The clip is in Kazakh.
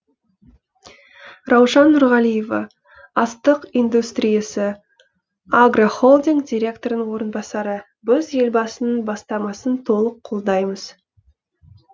раушан нұрғалиева астық индустриясы агрохолдинг директорының орынбасары біз елбасының бастамасын толық қолдаймыз